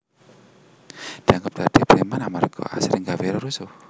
dianggep dadi preman amarga asring gawé rerusuh